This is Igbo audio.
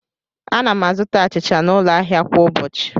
Ana m azụta achịcha n'ụlọ ahịa kwa ụbọchị.